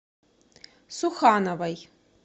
сухановой